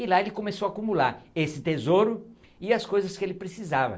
E lá ele começou a acumular esse tesouro e as coisas que ele precisava.